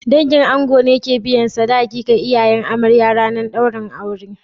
Dangin ango ne ke biyan sadaki ga iyayen amarya a ranar daurin aure